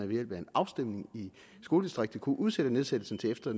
via en afstemning i skoledistriktet kunne udsætte nedlæggelsen til efter